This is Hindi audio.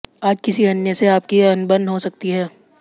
आज किसी अन्य से आपकी अनबन हो सकती है